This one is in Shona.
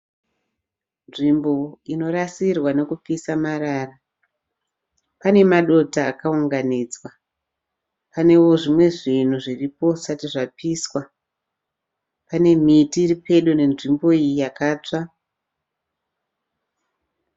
Nzvimbo inorasirwa nekupisa marara pane madota akaunganidzwa panewo zvimwe zvinhu zviripo zvisati zvapiswa pane miti iripedo nenzvimbo iyi yakatsva.